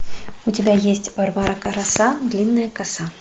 у тебя есть варвара краса длинная коса